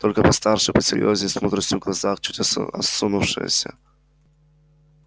только постарше посерьёзнее с мудростью в глазах чуть осунувшаяся